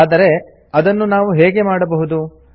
ಆದರೆ ಅದನ್ನು ನಾವು ಹೇಗೆ ಮಾಡಬಹುದು